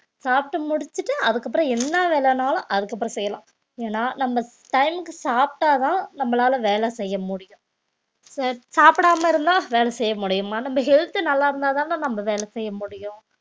சாப்பிட்டு முடிச்சிட்டு அதுக்கப்புறம் என்ன வேலைன்னாலும் அதுக்கப்புறம் செய்யலாம் ஏன்னா நம்ம time க்கு சாப்பிட்டாதான் நம்மளால வேலை செய்ய முடியும் சா~ சாப்பிடாம இருந்தா வேல செய்ய முடியுமா நம்ம health உ நல்லா இருந்தாதானே நம்ம வேலை செய்ய முடியும்